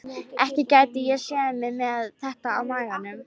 Ekki gæti ég séð mig með þetta á maganum.